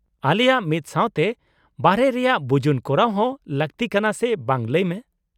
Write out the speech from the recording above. -ᱟᱞᱮᱭᱟᱜ ᱢᱤᱫᱥᱟᱶᱛᱮ ᱵᱟᱨᱦᱮ ᱨᱮᱭᱟᱜ ᱵᱤᱡᱩᱱ ᱠᱚᱨᱟᱣ ᱦᱚᱸ ᱞᱟᱹᱠᱛᱤ ᱠᱟᱱᱟ ᱥᱮ ᱵᱟᱝ ᱞᱟᱹᱭ ᱢᱮ ?